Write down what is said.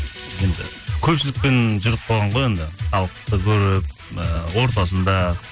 енді көпшілікпен жүріп қалған ғой енді халықты көріп ы ортасында